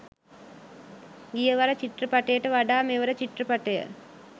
ගිය වර චිත්‍රපටයට වඩා මෙවර චිත්‍රපටය